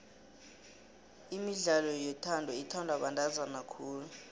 imidlalo yothando ithandwa bantazana khulu